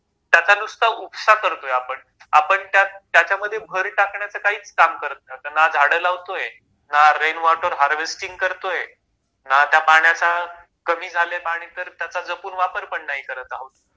त्याचा नुसता उपसा करतोय आपण आपण त्याच्यामध्ये भर टाकण्याच काहीच काम नाही ना झाड लावतोय ना रेन वॉटर हार्वेस्टिंग करतोय ना त्या पाण्याचा कमी झालंय पाणी तर त्याचा जपून वापर नाही करत आहोत...